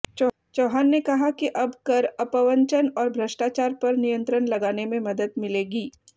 चौहान ने कहा कि अब कर अपवंचन और भ्रष्टाचार पर नियंत्रण लगाने में मदद मिलेगी